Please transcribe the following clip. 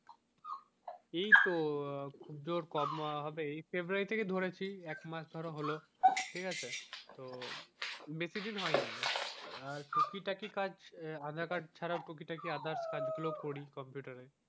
এই তো আহ খুবজোর কবে হবে এই february থেকে ধরেছি, একমাস ধরো হলো ঠিকাছে তো বেশিদিন হয় নি আর টুকিটাকি কাজ আধার কার্ড ছাড়া টুকিটাকি others কাজ গুলো ও করি কম্পিউটার এ।